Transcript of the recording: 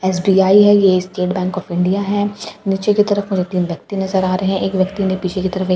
SBI है। ये State Bank of India है नीचे की तरफ तीन व्यक्ति नजर आ रहे हैं एक व्यक्ति ने पीछे की तरफ एक--